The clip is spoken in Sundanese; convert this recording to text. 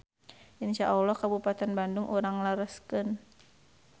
Insya Alloh Kabupaten Bandung urang lereskeun.